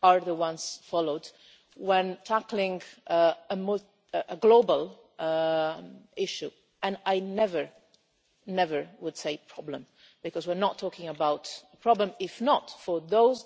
are the ones followed when tackling a global issue. I would never never say problem', because we're not talking about a problem, if not for those